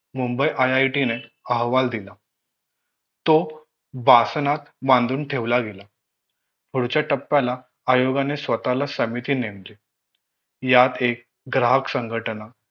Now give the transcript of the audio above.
Mumbai IIT ने अहवाल दिला तो बासनात बांधून ठेवला गेला पुढच्या टप्प्याला आयोगाने स्वतःला समिती नेमली यात एक ग्राहक संघटना